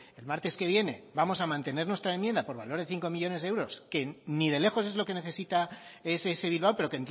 el martes que viene vamos a mantener nuestra enmienda por valor de cinco millónes de euros que ni de lejos es lo que necesita ess bilbao pero